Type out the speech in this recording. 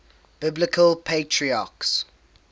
biblical patriarchs